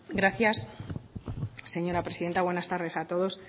gracias señora presidenta buenas tardes a todos